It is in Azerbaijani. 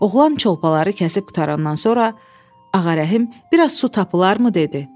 Oğlan çolpaları kəsib qutarandan sonra Ağarəhm: Bir az su tapılarmı dedi?